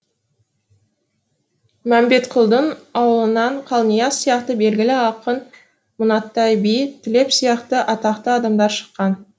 мәмбетқұлдың аулынан қалнияз сияқты белгілі ақын мұңаттай би тілеп сияқты атақты адамдар шыққан